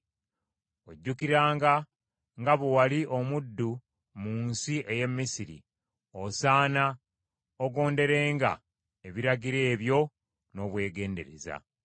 Ojjukiranga nga bwe wali omuddu mu nsi ey’e Misiri, osaana ogonderenga ebiragiro ebyo n’obwegendereza.